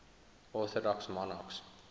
orthodox monarchs